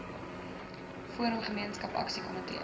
forum gemeenskap aksiekomitees